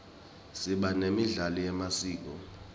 siba nemidlalo yemasiko